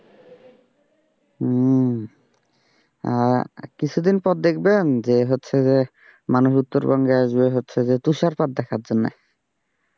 হুম আহ কিছুদিন পর দেখবেন যে হচ্ছে যে মানুষ উত্তরবঙ্গে আসবে হচ্ছে যে তুষারপাত দেখার জন্যে।